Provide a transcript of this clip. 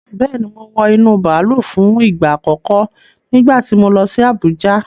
Bẹ́ẹ̀ni, mo wọ inú bàálù fún ìgbà àkọ́kọ́ nígbà tí mo lọ sí Abùjá.